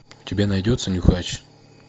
у тебя найдется нюхач